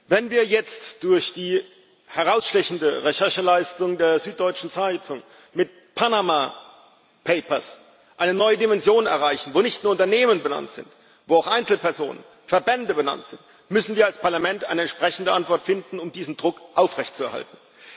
Wenn wir jetzt durch die herausstechende Rechercheleistung der Süddeutschen Zeitung mit Panama Papers eine neue Dimension erreichen, bei der nicht nur Unternehmen benannt sind, bei der auch Einzelpersonen, Verbände benannt sind, müssen wir als Parlament eine entsprechende Antwort finden, um diesen Druck aufrechtzuerhalten.